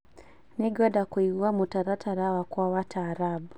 Nĩngwenda kũigua mũtaratara wakwa wa taarab